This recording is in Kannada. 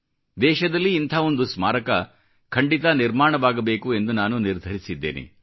ದೇಶದಲ್ಲಿ ಇಂಥ ಒಂದು ಸ್ಮಾರಕ ಖಂಡಿತ ನಿರ್ಮಾಣವಾಗಬೇಕು ಎಂದು ನಾನು ನಿರ್ಧರಿಸಿದ್ದೇನೆ